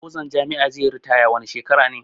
Bozan jami'a zai yi ritaya wani shekara ne